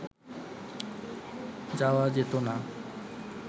যাওয়া যেতো না